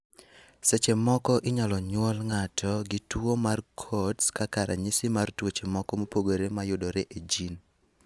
Seche moko inyalo nyuol ngato gi tuo mar Coats kaka ranyisi mar tuoche moko mopogore mayudore e gene.